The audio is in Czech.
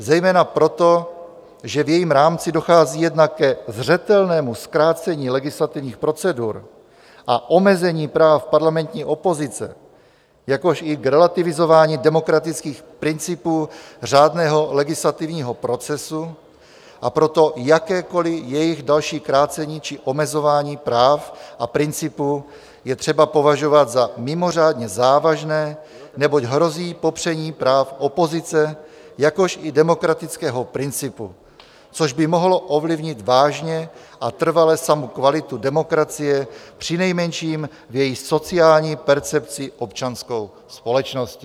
Zejména proto, že v jejím rámci dochází jednak ke zřetelnému zkrácení legislativních procedur a omezení práv parlamentní opozice, jakož i k relativizování demokratických principů řádného legislativního procesu, a proto jakékoliv jejich další krácení či omezování práv a principů je třeba považovat za mimořádně závažné, neboť hrozí popření práv opozice, jakož i demokratického principu, což by mohlo ovlivnit vážně a trvale samu kvalitu demokracie přinejmenším v její sociální percepci občanskou společností." -